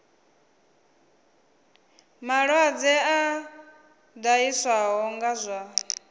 malwadze a ṱahiswaho nga zwa